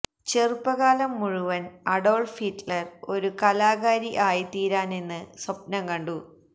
ചെറുപ്പകാലം മുഴുവൻ Adolf Hitler ഒരു കലാകാരി ആയിത്തീരാനെന്ന് സ്വപ്നം കണ്ടു